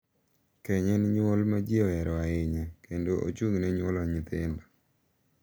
keny en nyuol ma ji ohero ahinya kendo ochung’ne nyuolo nyithindo.